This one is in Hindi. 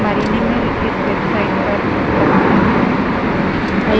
अधिक जानकारी हमारी निम्नलिखित वेबसाइट